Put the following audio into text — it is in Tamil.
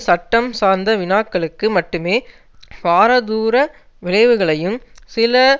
சட்டம் சார்ந்த வினாக்களுக்கு மட்டுமே பாரதூர விளைவுகளையும் சில